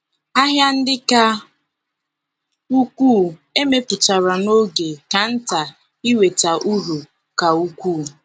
ahịa ndi ka ukwuu e mepụtara n’oge ka nta iweta uru ka ukwuu.